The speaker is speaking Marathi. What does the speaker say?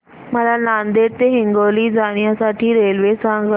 मला नांदेड ते हिंगोली जाण्या साठी रेल्वे सांगा